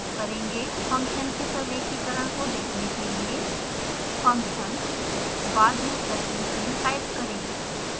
function के प्रलेखीकरण को देखने के लिए फंक्शन बाद में प्रश्न चिन्ह टाइप करें